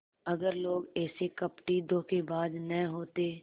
अगर लोग ऐसे कपटीधोखेबाज न होते